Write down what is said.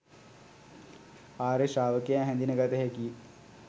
ආර්ය ශ්‍රාවකයා හැඳින ගත හැකියි